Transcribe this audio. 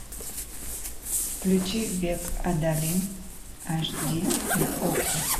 включи век адалин аш ди на окко